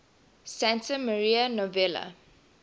santa maria novella